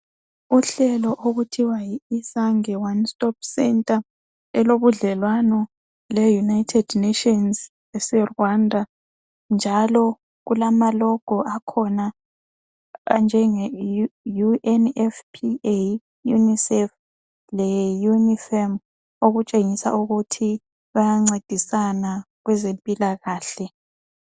Uhlelo okuthiwa yi Isange One Stop Center, elobudlelwano leUnited nations aseRwanda. Njalo kulama logo akhona anjenge UNFPA, UNICEF leUNIFEM, okutshengisa ukuthi bayancedisana kwezempilakahle.